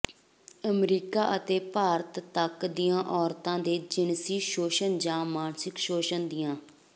America ਅਤੇ ਭਾਰਤ ਤੱਕ ਦੀਆਂ ਔਰਤਾਂ ਦੇ ਜਿਣਸੀ ਸ਼ੋਸ਼ਣ ਜਾਂ ਮਾਨਸਿਕ ਸ਼ੋਸ਼ਣ ਦੀਆਂ